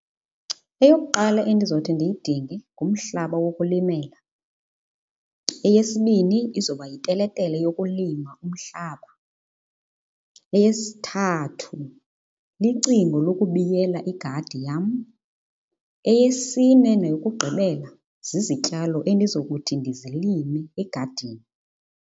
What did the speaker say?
Eyokuqala endizothi ndiyidinge ngumhlaba wokulimela. Eyesibini izoba yiteletele yokulima umhlaba. Eyesithathu licingo lokubiyela igadi yam. Eyesine neyokugqibela zizityalo endizokuthi ndizilime egadini.